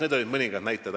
Need olid mõningad näited.